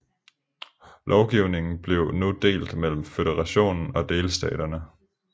Lovgivningen blev nu delt mellem føderationen og delstaterne